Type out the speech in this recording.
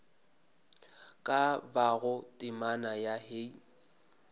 ka bago temana ya hei